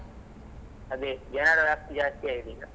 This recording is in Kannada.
ಅದೇ ಜನರ rush ಜಾಸ್ತಿಯಾಗಿದೆ ಈಗ.